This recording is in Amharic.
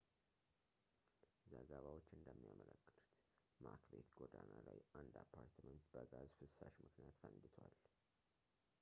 ዘገባዎች እንደሚያመለክቱት ማክቤት ጎዳና ላይ አንድ አፓርትመንት በጋዝ ፍሳሽ ምክንያት ፈንድቷል